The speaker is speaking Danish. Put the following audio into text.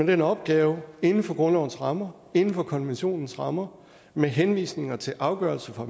den opgave inden for grundlovens rammer inden for konventionens rammer med henvisninger til afgørelser